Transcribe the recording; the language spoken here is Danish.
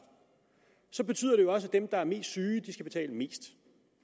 så betyder det jo også at dem der er mest syge skal betale mest